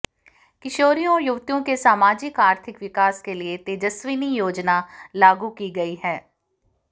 किशोरियों और युवतियों के सामाजिक आर्थिक विकास के लिए तेजस्विनी योजना लागू की गयी है